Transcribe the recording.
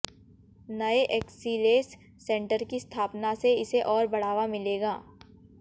नए excellence centre की स्थापना से इसे और बढ़ावा मिलेगा